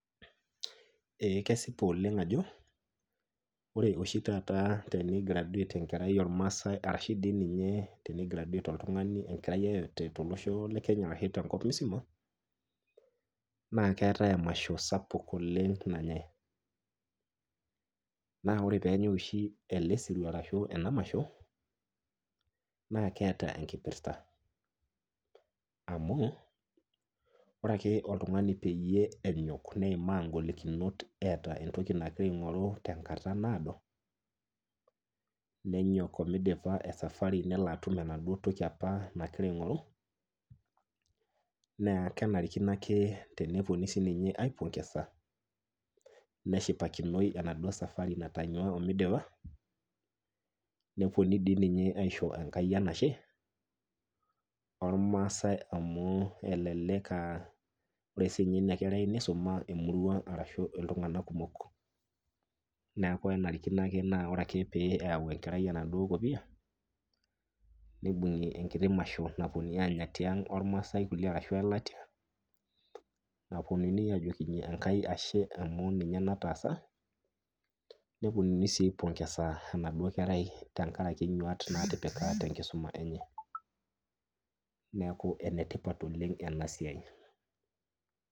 Eeh kesipa oleng' ajo ore oshi tataa teneigraduet enkerai olmasai arashu dii ninye teneigraduet oltung'ani enkerai yeyote tolosho le Kenya arashu tenkop musima naakeatai emasho sapuk oleng' nanyai. Naaore peenyai oshi ele sirua arashu ena masho naakeata enkipirta amu ore ake oltung'ani peyie enyok neimaa ingolikinot eata entoki nagira aing'oru tenkata naado, nenyok omeidipa esafari neloatum enaduo toki apa nagira aing'oru, naa kenarikino akee tenepuonuni sininye aipongesa neshipakinoi enaduo  safari natonyua omeidipa, nepuonuni dii ninye aisho enkai enashe olmaasai amu elelek [aa] ore sininye ina kerai neisuma emurua arashu iltung'anak kumok. Neaku enarikino ake naa ore ake pee eyau enkerai enaduo kopia, neibung'i enkiti masho napuonuni aanya tiang' olmasai kulie arashu oelatia napuonuni ajokinye eNkai ashe amu ninye nataasa nepuonuni sii aipongesa enaduo kerai tengarake nyuaat natipika tenkisoma enye. Neaku enetipat oleng' enasiai.